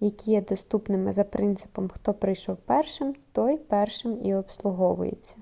які є доступними за принципом хто прийшов першим той першим і обслуговується